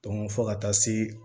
fo ka taa se